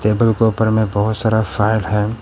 Table के ऊपर मे बहुत सारा फाइल है।